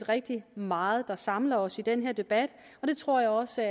rigtig meget der samler os i den her debat og det tror jeg også